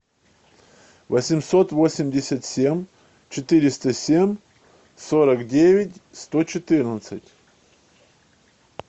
восемьсот восемьдесят семь четыреста семь сорок девять сто четырнадцать